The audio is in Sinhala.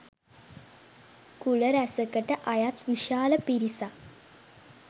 කුල රැසකට අයත් විශාල පිරිසක්